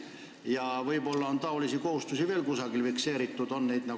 Ja võib-olla on sääraseid kohustusi veel kusagil fikseeritud?